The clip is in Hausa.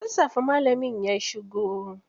Da sassafe malamin ya shigo.